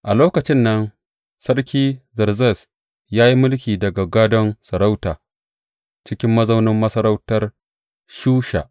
A lokacin nan, Sarki Zerzes ya yi mulki daga gadon sarauta, cikin mazaunin masarautar Shusha.